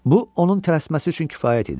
Bu onun tələsməsi üçün kifayət idi.